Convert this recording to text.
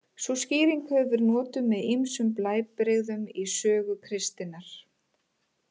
Sú skýring hefur verið notuð með ýmsum blæbrigðum í sögu kristninnar.